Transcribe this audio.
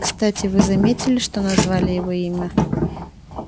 кстати вы заметили что назвали его имя